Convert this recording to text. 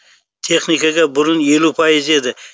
техникаға бұрын елу пайыз еді